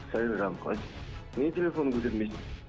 сәлем жаным қалайсың неге телефоныңды көтермейсің